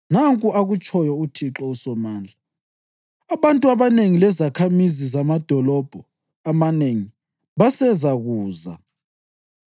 Nanku akutshoyo uThixo uSomandla: “Abantu abanengi lezakhamizi zamadolobho amanengi basezakuza,